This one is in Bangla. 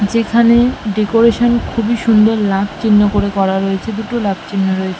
যেখানে ডেকোরেশন খুবই সুন্দর লাভ চিহ্ন করে করা হয়েছে দুটো লাভ চিহ্ন রয়ে--